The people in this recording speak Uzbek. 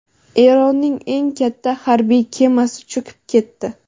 Eronning eng katta harbiy kemasi cho‘kib ketdi.